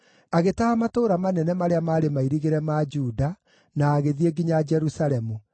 agĩtaha matũũra manene marĩa maarĩ mairigĩre ma Juda na agĩthiĩ nginya Jerusalemu.